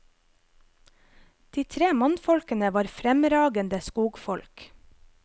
De tre mannfolkene var fremragende skogfolk.